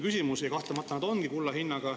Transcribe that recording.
Ja kahtlemata need ongi kulla hinnaga.